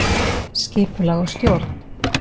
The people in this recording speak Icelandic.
Skipulag og stjórn